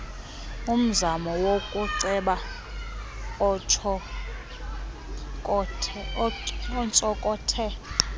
umzamo wokuceba ontsonkothe